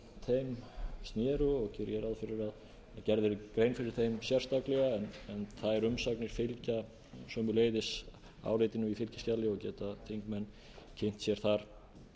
þeim sneru og geri ég ráð fyrir að gerð verði grein fyrir þeim sérstaklega en þær umsagnir fylgja sömuleiðis áritun í fylgiskjali og geta þingmenn kynnt sér þar